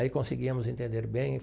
Aí conseguíamos entender bem.